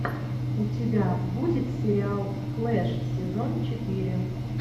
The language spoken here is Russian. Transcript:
у тебя будет сериал флэш сезон четыре